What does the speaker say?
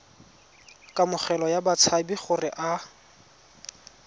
kamogelo ya batshabi gore a